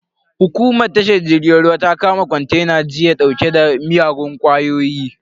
Hukumar tashar jirgin ruwa ta kama kontena jiya dauke da miyagun kwayoyi.